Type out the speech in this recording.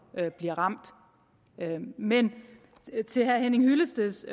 bliver ramt men til herre henning hyllesteds